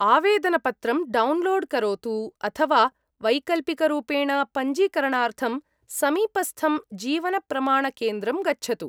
आवेदनपत्रं डौन्लोड् करोतु, अथ वा वैकल्पिकरूपेण पञ्जीकरणार्थं समीपस्थं जीवनप्रमाणकेन्द्रं गच्छतु।